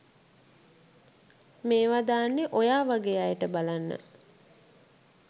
මේවා දාන්නේ ඔයාවගේ අයට බලන්න.